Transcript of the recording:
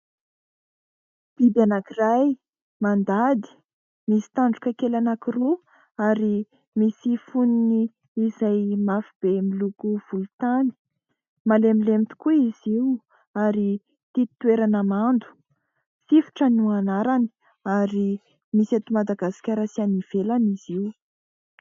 Biby anankiray mandady misy tandroka kely anankiroa ary misy fonony izay mafy be miloko volontany. Malemilemy tokoa izy io ary tia toerana mando. Sifotra no anarany ary misy eto Madagasikara sy any ivelany izy io.